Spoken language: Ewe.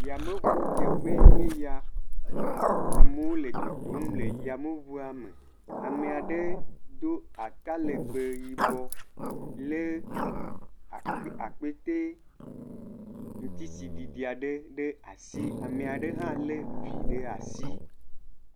yameʋu dzeƒe yeya amewo le dodom tso yameʋuɔ me amɛaɖe dó atalegbe yibɔ lɛ akpɛtɛ ŋtisiɖiɖi aɖe ɖe asi eɖe hã le vi ɖe asi